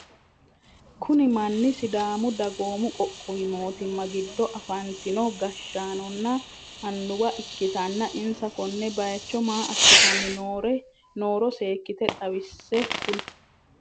Kunni manni sidaamu dagoomu qoqqowi mootimma gido afatinno gashaanonna anuwa ikitanna insa konne bayicho maa asitanni nooro seekite xawisi kuli?